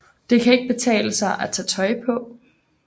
Det kan ikke betale sig at tage tøj på